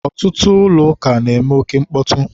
ọtụtụ ụlọ ụka na-eme oke mkpọtụ.